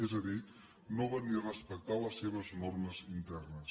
és a dir no van ni respectar les seves normes internes